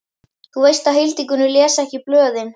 Þú veist að Hildigunnur les ekki blöðin.